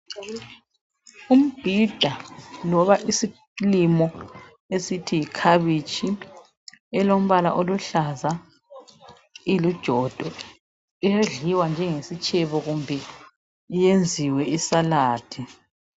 Umbhida loba isilimo esithi yikhabitshi elombala oluhlaza ilijodo siyadliwa njenge sitshebo kumbe iyenziwe isaladi.